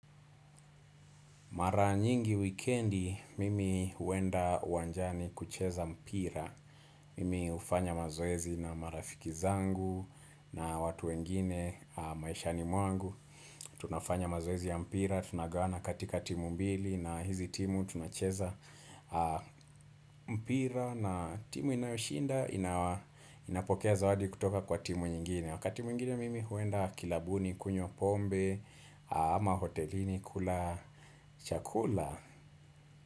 Maranyingi wikendi mimi huenda wanjani kucheza mpira. Mimi hufanya mazoezi na marafiki zangu na watu wengine maishani mwangu. Tunafanya mazoezi ya mpira, tunagawana katika timu mbili na hizi timu tunacheza mpira. Na timu inayoshinda inapokea zawadi kutoka kwa timu nyingine. Wakati mwingine mimi huenda kilabuni kunywa pombe ama hotelini kula chakula.